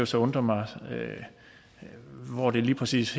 så undre mig hvor det lige præcis